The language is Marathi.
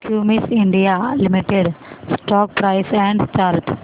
Cummins India limited stock price and chart